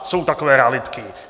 Jsou takové realitky.